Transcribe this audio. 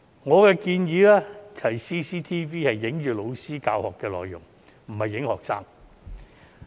我建議安裝 CCTV 只拍攝老師的教學內容，而非拍攝學生。